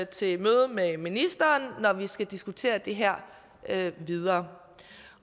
til møde med ministeren når vi skal diskutere det her videre